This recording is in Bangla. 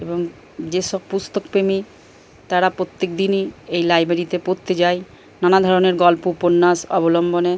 এবং যেসব পুস্তকপ্রেমী এই লাইব্রেরি তে পড়তে যায়। নানাধরণের গল্প উপন্যাস অবলম্বনে --